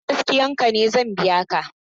Idan gaskiyan ka ne zan biya ka.